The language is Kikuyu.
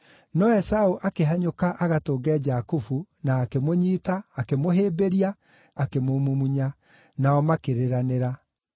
No Esaũ akĩhanyũka agatũnge Jakubu na akĩmũnyiita, akĩmũhĩmbĩria, akĩmũmumunya. Nao makĩrĩranĩra.